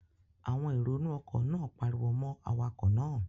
Àwọn èrò inú ọkọ̀ náà pariwo mọ́ awakọ̀ náà